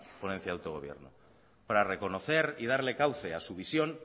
ponencia de autogobierno para reconocer y darle cauce a su visión